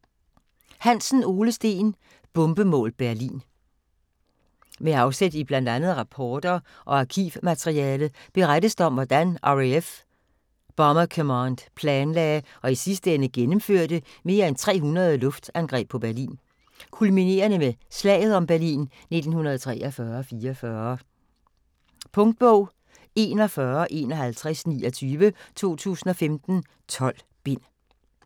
Hansen, Ole Steen: Bombemål Berlin Med afsæt i bl.a. rapporter og arkivmateriale berettes der om, hvordan RAF Bomber Command planlagde og i sidste ende gennemførte mere end 300 luftangreb på Berlin, kulminerende med "slaget om Berlin" 1943-44. Punktbog 415129 2015. 12 bind.